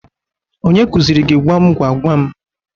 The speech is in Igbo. Onye kuzịrị gị gwam gwa gwam?